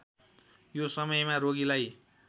यो समयमा रोगीलाई